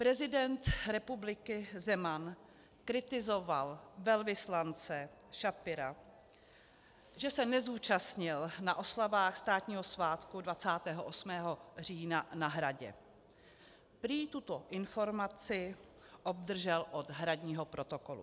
Prezident republiky Zeman kritizoval velvyslance Schapira, že se nezúčastnil na oslavách státního svátku 28. října na Hradě, prý tuto informaci obdržel od hradního protokolu.